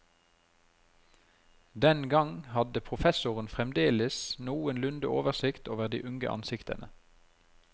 Den gang hadde professoren fremdeles noenlunde oversikt over de unge ansiktene.